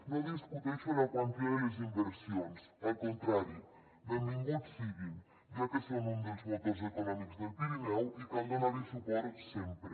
no discuteixo la quantia de les inversions al contrari benvinguts siguin ja que són un dels motors econòmics del pirineu i cal donar hi suport sempre